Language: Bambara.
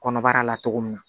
Kɔnɔbara la cogo min na